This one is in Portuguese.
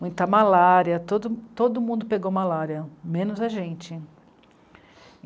Muita malária, todo, todo mundo pegou malária, menos a gente.